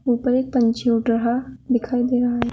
ऊपर एक पंछी उड़ रहा दिखाई दे रहा है।